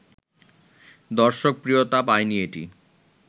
দর্শকপ্রিয়তা পায়নি এটি